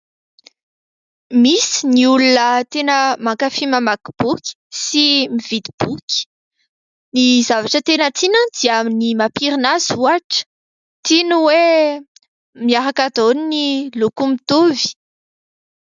Misy ny olona tena mankafy mamaky boky sy mividy boky. Ny zavatra tena tiany dia ny mampirina azy ohatra. Tiany hoe miaraka daholo ny loko mitovy.